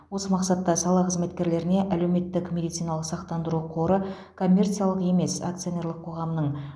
осы мақсатта сала қызметкерлеріне әлеуметтік медициналық сақтандыру қоры коммерциялық емес акционерлік қоғамның